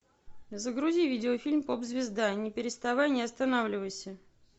загрузи видеофильм поп звезда не переставай не останавливайся